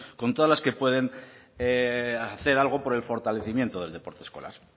con todas las que pueden hacer algo por el fortalecimiento del deporte escolar